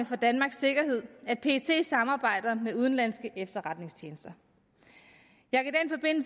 for danmarks sikkerhed at pet samarbejder med udenlandske efterretningstjenester jeg kan